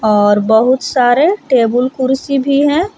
और बहुत सारे टेबुल कुर्सी भी है।